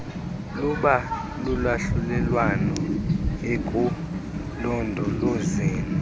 luba lulwahlulelwano ekulondolozeni